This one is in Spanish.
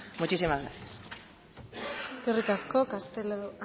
muchísimas gracias eskerrik asko castelo